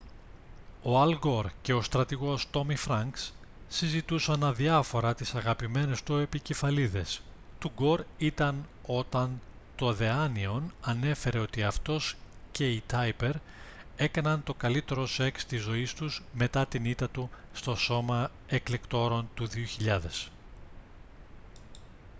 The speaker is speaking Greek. ο αλ γκορ και ο στρατηγός τόμι φρανκς συζητούσαν αδιάφορα τις αγαπημένες του επικεφαλίδες του γκορ ήταν όταν το the onion ανέφερε ότι αυτός και η tipper έκαναν το καλύτερο σεξ της ζωής τους μετά την ήττα του στο σώμα εκλεκτόρων του 2000